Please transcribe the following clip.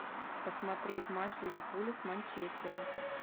посмотреть матч ливерпуля с манчестером